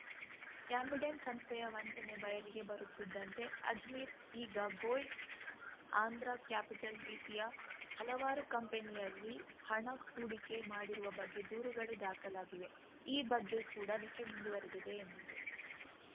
Ambidant ಸಂಸ್ಥೆಯ ವಂಚನೆ ಬಯಲಿಗೆ ಬರುತ್ತಿದ್ದಂತೆ ಅಜ್ಮೀರ್‌ ಇಗಾ ಗೋಲ್ಡ್‌ ಆಂಧ್ರ ಕ್ಯಾಪಿಟಲ್‌ ರೀತಿಯ ಹಲವಾರು ಕಂಪನಿಯಲ್ಲಿ ಹಣ ಹೂಡಿಕೆ ಮಾಡಿರುವ ಬಗ್ಗೆ ದೂರುಗಳು ದಾಖಲಾಗಿವೆ ಈ ಬಗ್ಗೆ ಕೂಡ ತನಿಖೆ ಮುಂದುವರೆದಿದೆ ಎಂದರು